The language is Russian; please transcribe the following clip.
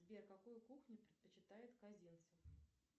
сбер какую кухню предпочитает козинцев